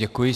Děkuji.